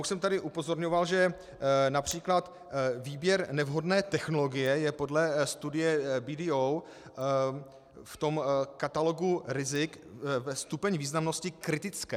Už jsem tady upozorňoval, že například výběr nevhodné technologie je podle studie BDO v tom katalogu rizik ve stupni významnosti kritické.